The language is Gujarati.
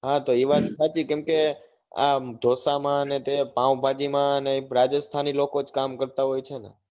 હા તો એ વાત સાચી કેમ કે આ ઢોસા માં ને પાવભાજી માં એ રાજસ્થાની લોકો જ કામ કરતા હોય છે ને